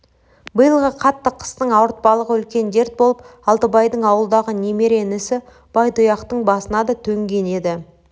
биылғы қатты қыстың ауыртпалығы үлкен дерт болып алтыбайдың ауылдағы немере інісі байтұяқтың басына да төнген еді